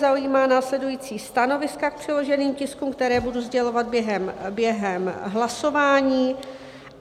Zaujímá následující stanoviska k předloženým tiskům, která budu sdělovat během hlasování.